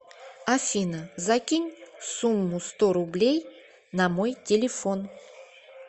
афина закинь сумму сто рублей на мой телефон